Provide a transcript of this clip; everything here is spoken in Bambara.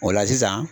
O la sisan